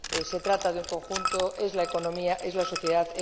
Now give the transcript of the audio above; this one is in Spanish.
Se trata de un conjunto es la economía, es la sociedad